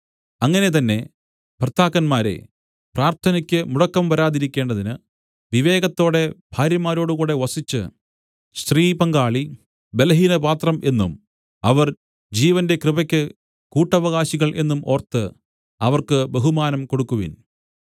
അങ്ങനെ തന്നെ ഭർത്താക്കന്മാരേ പ്രാർത്ഥനയ്ക്ക് മുടക്കം വരാതിരിക്കേണ്ടതിന് വിവേകത്തോടെ ഭാര്യമാരോടുകൂടെ വസിച്ച് സ്ത്രീപങ്കാളി ബലഹീനപാത്രം എന്നും അവർ ജീവന്റെ കൃപയ്ക്ക് കൂട്ടവകാശികൾ എന്നും ഓർത്ത് അവർക്ക് ബഹുമാനം കൊടുക്കുവിൻ